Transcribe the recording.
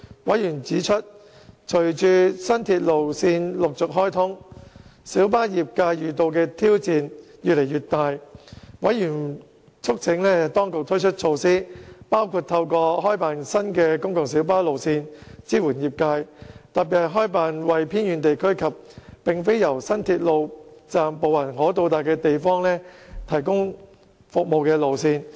委員指出，隨着新鐵路線陸續開通，小巴業界遇到的挑戰越來越大，委員促請當局推出措施，包括透過開辦新的公共小巴路線支援業界，特別是開辦為偏遠地區及並非由新鐵路站步行可達的地方提供服務的路線。